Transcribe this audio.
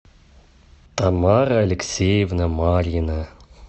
тамара алексеевна марьина